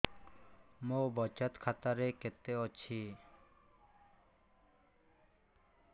ମୋ ବଚତ ଖାତା ରେ କେତେ ଅଛି